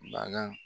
Baga